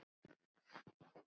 Enda allt í kring.